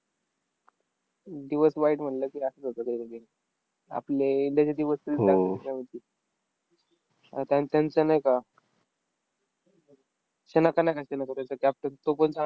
दिवस वाईट म्हणलं की, असंच होतं कधीकधी. आपले इंडियाचे दिवस आन त्यां त्यांचा नाही का? शनाका नाही का? शनाका त्यांचा captain तोपण चांगला